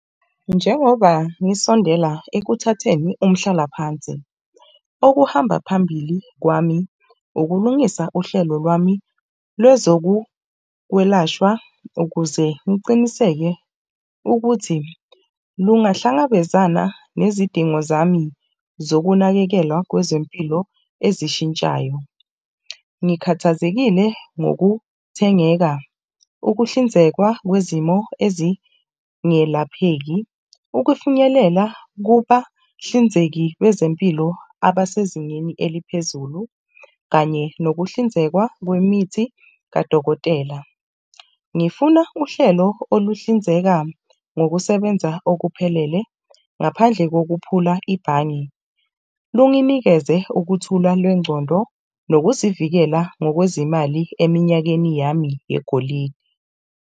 Njengoba ngisondela ekuthatheni umhlalaphansi okuhamba phambili kwami, ukulungisa uhlelo lwami lwezokwelashwa ukuze ngiciniseke ukuthi lungahlangabezana nezidingo zami zokunakekelwa kwezempilo ezishintshayo. Ngikhathazekile ngokuthengeka, ukuhlinzekwa kwezimo ezingelapheki. Ukufinyelela kubahlinzeki bezempilo abasezingeni eliphezulu, kanye nokuhlinzekwa kwemithi kadokotela. Ngifuna uhlelo oluhlinzeka ngokusebenza okuphelele ngaphandle kokuphula ibhange lunginikeze ukuthula lwencondo nokuzivikela ngokwezemali eminyakeni yami yegolide.